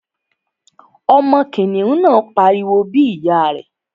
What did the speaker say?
Ọmọ kìnìún náà pariwo bí ìyá rẹ̀